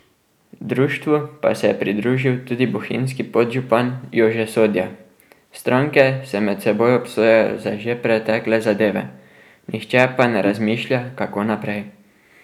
Društvu pa se je pridružil tudi bohinjski podžupan Jože Sodja: 'Stranke se med seboj obsojajo za že pretekle zadeve, nihče pa ne razmišlja, kako naprej.